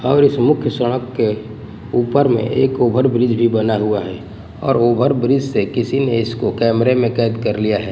और इस मुख्य सड़क के ऊपर मे एक ओवर ब्रिज भी बना हुआ है और ओवर ब्रिज से किसी ने इसको कमरे मे कैद कर लिया है।